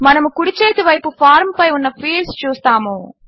మనము కుడిచేతివైపు ఫార్మ్ పై ఉన్న ఫీల్డ్స్ చూస్తాము